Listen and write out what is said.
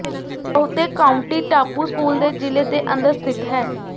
ਬਹੁਤੇ ਕਾਉਂਟੀ ਟਾਪੂ ਸਕੂਲ ਦੇ ਜ਼ਿਲ੍ਹੇ ਦੇ ਅੰਦਰ ਸਥਿਤ ਹਨ